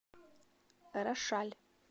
рошаль